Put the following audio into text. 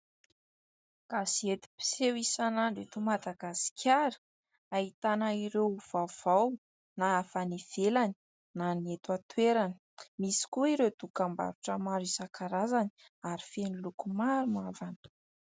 Gazety mpiseho isan'andro eto Madagasikara, ahitana ireo vaovao na avy any ivelany na ny eto an-toerana, misy koa ireo dokam-barotra maro isan-karazany ary feno loko maro mavana.